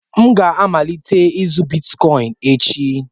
M ga-amalite ịzụ Bitkọịn echi